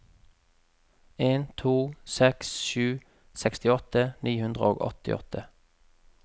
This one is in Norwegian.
en to seks sju sekstiåtte ni hundre og åttiåtte